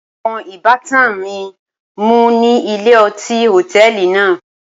Awọn ibatan mi mu ni ile-ọti hotẹẹli naa.